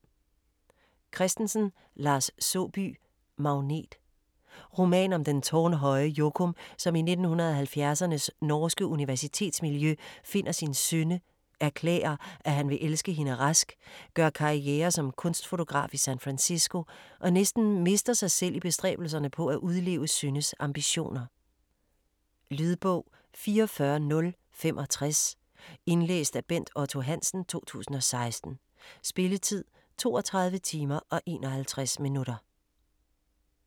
Christensen, Lars Saabye: Magnet Roman om den tårnhøje Jokum, som i 1970'ernes norske universitetsmiljø finder sin Synne, erklærer, at han vil elske hende rask, gør karriere som kunstfotograf i San Fransisco, og næsten mister sig selv i bestræbelserne på at udleve Synnes ambitioner. Lydbog 44065 Indlæst af Bent Otto Hansen, 2016. Spilletid: 32 timer, 51 minutter.